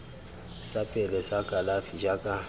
sa pele sa kalafi jaaka